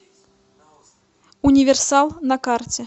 универсал на карте